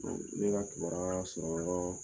ne ka kibaruya sɔrɔ yɔrɔ